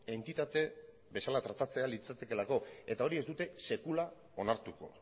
entitate bezala tratatzea litzakeelako eta hori ez dute sekula onartuko